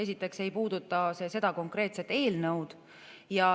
Esiteks ei puuduta see seda konkreetset eelnõu.